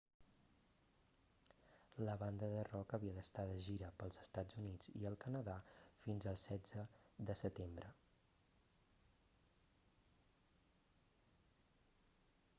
la banda de rock havia d'estar de gira pels estats units i el canadà fins al 16 de setembre